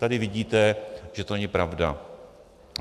Tady vidíte, že to není pravda.